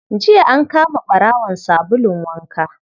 Jiya an kama ɓarawon sabulun waka